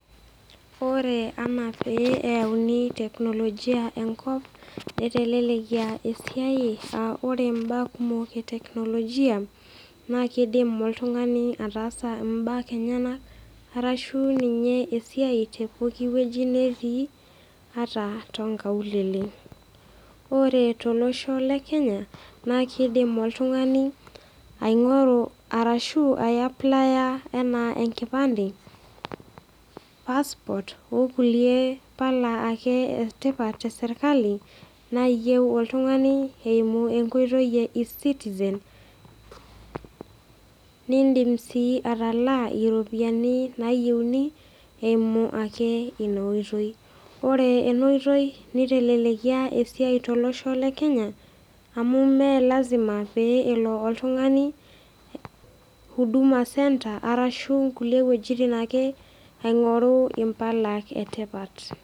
Ore anaa pee eyauni teknolojia enkop, netelelekia esiai aa kore imbaa kumok e teknolojia naa keidim oltung'ani ataasa imbaa enyena, arashu ninye esiai te ewueji netii, ataa too nkaulele. Ore tolosho le Kenya naa keidim oltung'ani aingoru arashu aiaplaya anaa enkipande passport o kulie pala ake tipat e serkali, naayieu oltung'ani eimu enkoitoi e eCitizen nindim sii atalaa iropiani nayieuni eimu ake ina oitoi. Ore ena oitoi neitelelekia esiai tolosho le Kenya, amu mee lazima pee elo oltung'ani Huduma center arashu duo inkulie wuetin ake aing'oru impala e tipat.